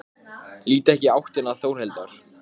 Ég hef ekki verið að spyrja Sif neitt.